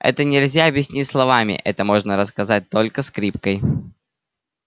это нельзя объяснить словами это можно рассказать только скрипкой